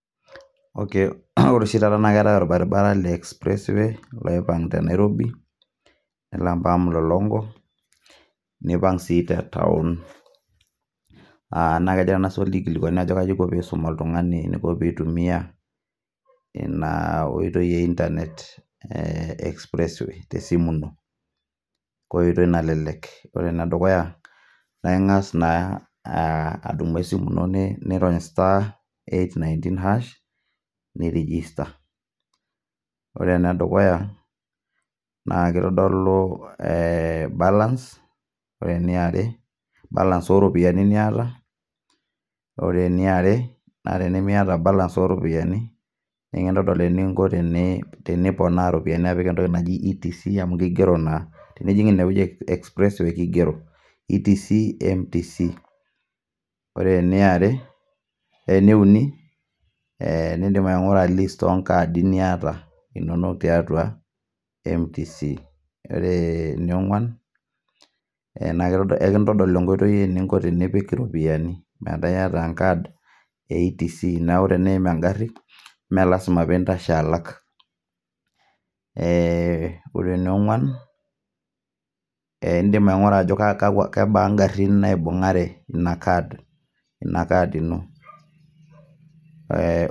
Okay, ore oshi taata naake eetai orbaribara le express way, loipang' te Nairobi nelo mpaka Mlolongo, aa nipang' sii te taon. Negira ena swali aikilikuan kaji inko piisum oltung'ani eniko piitumia ina oitoi e internet e express way te simu ino enkoitoi nalelek. Ore ene dukuya naake ing'as naa adumu esimu ino nirony star, eight-ninteen hash, ni register. Ore ene dukuya naake itodolu balance, ore eniare balance o ropiani niata, ore eniare ore eniare naa tenimiata balance o ropiani, nenkitodol teniponaa iropiani apik entoki naji etc amu kigero naa. Tenijing' ine wueji e express way, kigero etc, mtc Ore eniare, ene uni ee nindim aing'ura list o nkaadi niata inoolong' tiatua mtc .Ore enionguan, naake kekintodol enkoitoi eninko tenipik iropiani metaa iyata enkad e etc. Neeku teneim eng'ari mee lazima piintashe alak. Eee ore eni ong'uan nindim aing'ura kebaa ng'arin naibung'are ina card ino ee...